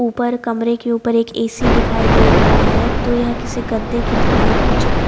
ऊपर कमरे के ऊपर एक ए_सी दिखाई दे रहा है तो यह किसी गद्दे की दुकान की चित्र--